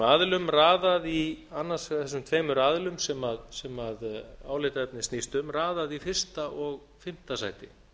aðilum raðað í annars vegar þessum tveimur aðilum sem álitaefnið snýst um raðað í fyrsta og fimmta sæti